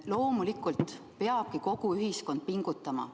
Loomulikult peabki kogu ühiskond pingutama.